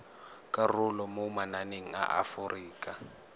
karolo mo mananeng a aforika